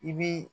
I bi